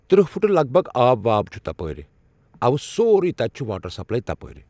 ترٕٛہ پھٕٹہٕ لگ بگ آب واب چھِ تپٲرۍ اَوہ سورُے تَتہِ چھِ واٹر سَپلاے تَپٲرۍ